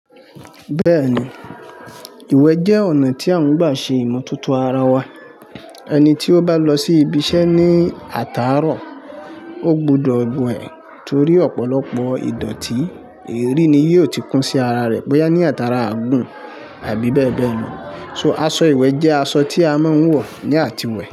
Bẹ́ẹ̀ni, ìwẹ̀ jẹ́ ọ̀nà tí a ń gbà ṣe ìmọ̀tótó ara wa. Ẹni tí ó bá lọ sí ibiṣẹ́ ní àtàárọ̀, ó gbúdọ̀ wẹ̀ torí ọ̀pọ̀lọpọ̀ ìdọ̀tí. Eeri ni yóò ti kún sí ara rẹ̀ bóyá ní atara aagùn àbí bẹ́ẹ̀ bẹ́ẹ̀ lọ. So aṣọ ìwẹ̀ jẹ aṣọ tí a máa ń wọ̀ ní àtiwẹ̀